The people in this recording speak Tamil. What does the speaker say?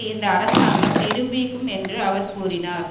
இந்த அரசாங்கம் நிரூபிக்கும் என்று அவர் கூறினார்